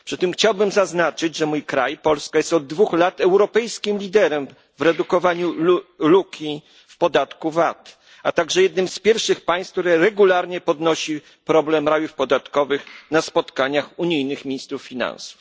Chciałbym przy tym zaznaczyć, że mój kraj, Polska, jest od dwóch lat europejskim liderem w redukowaniu luki w podatku VAT, a także jednym z pierwszych państw, które regularnie podnosi problem rajów podatkowych na spotkaniach unijnych ministrów finansów.